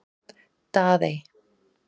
Daðey